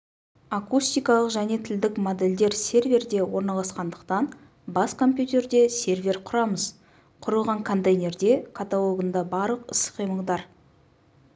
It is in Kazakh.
акустикалық және тілдік модельдер серверде орналасқандықтан бас компьютерде сервер құрамыз құрылған контейнерде каталогында барлық іс қимылдар